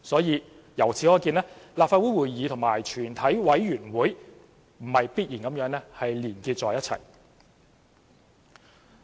由此可見，立法會會議和全委會不是必然地連結在一起。